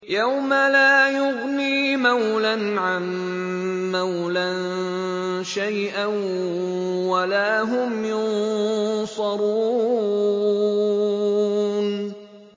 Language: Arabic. يَوْمَ لَا يُغْنِي مَوْلًى عَن مَّوْلًى شَيْئًا وَلَا هُمْ يُنصَرُونَ